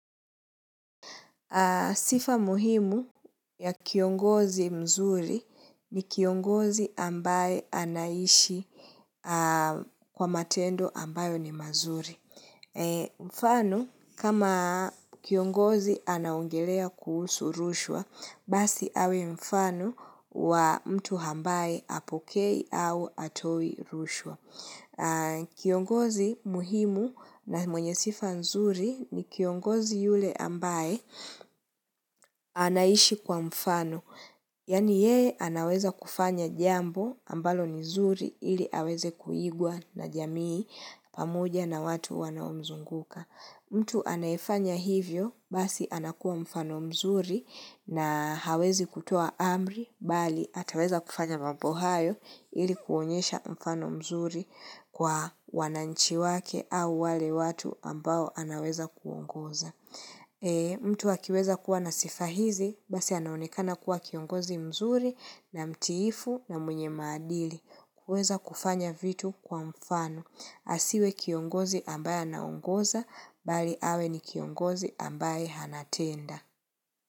Sifa muhimu ya kiongozi mzuri ni kiongozi ambaye anaishi kwa matendo ambayo ni mazuri. Mfano kama kiongozi anaongelea kuhusu rushwa, basi awe mfano wa mtu ambaye hapokei au hatoi rushwa. Kiongozi muhimu na mwenye sifa nzuri ni kiongozi yule ambaye anaishi kwa mfano. Yaani yeye anaweza kufanya jambo ambalo ni nzuri ili aweze kuigwa na jamii. Pamoja na watu wanaomzunguka. Mtu anayifanya hivyo basi anakua mfano mzuri na hawezi kutoa amri bali ataweza kufanya mambo hayo ilikuonyesha mfano mzuri. Kwa wananchi wake au wale watu ambao anaweza kuongoza. Mtu wakiweza kuwa nasifa hizi, basi anaonekana kuwa kiongozi mzuri na mtiifu na mwenye madili. Kuweza kufanya vitu kwa mfano. Asiwe kiongozi ambaye anaongoza, bali awe ni kiongozi ambaye anatenda.